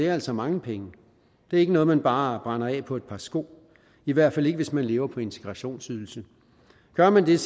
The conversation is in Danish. altså mange penge det er ikke noget man bare brænder af på et par sko i hvert fald ikke hvis man lever på integrationsydelsen gør man det er